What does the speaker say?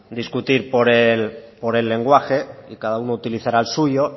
discutir por el lenguaje y cada uno utilizará el suyo